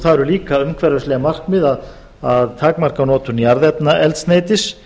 það eru líka umhverfisleg markmið að takmarka notkun jarðefnaeldsneytis